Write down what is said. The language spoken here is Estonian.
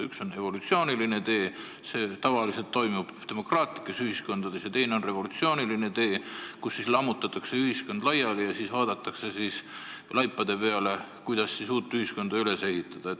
Üks on evolutsiooniline tee, nii toimub tavaliselt demokraatlikes ühiskondades, ja teine on revolutsiooniline tee, kui lammutatakse ühiskond laiali ja siis vaadatakse laipade peale, et kuidas nüüd uut ühiskonda üles ehitada.